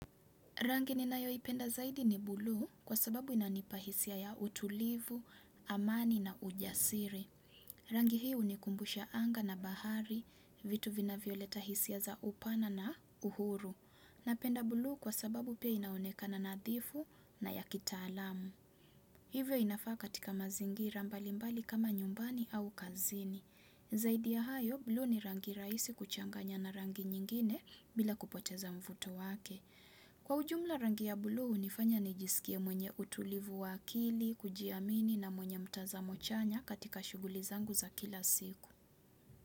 Rangi ni nayo ipenda zaidi ni buluu kwa sababu inanipahisia ya utulivu, amani na ujasiri. Rangi hii hunikumbusha anga na bahari, vitu vinavyo leta hisia za upana na uhuru. Napenda buluu kwa sababu pia inaonekana nadhifu na ya kitaalamu. Hivyo inafaa katika mazingira mbalimbali kama nyumbani au kazini. Zaidi ya hayo, buluu ni rangi raisi kuchanganya na rangi nyingine bila kupoteza mvuto wake. Kwa ujumla rangi ya buluu, nifanya nijisikia mwenye utulivu wa akili, kujiamini na mwenye mtazamo chanya katika shuguli zangu za kila siku.